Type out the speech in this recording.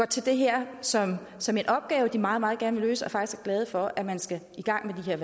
til det her som som en opgave de meget meget gerne vil løse og faktisk glade for at man skal i gang med